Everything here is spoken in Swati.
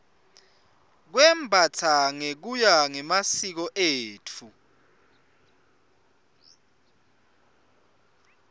kwembastsa ngekuya ngemasiko etfu